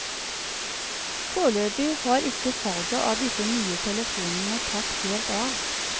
Foreløpig har ikke salget av disse nye telefonene tatt helt av.